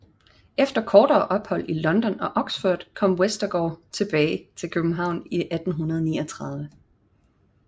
Efter kortere ophold i London og Oxford kom Westergaard tilbage til København i 1839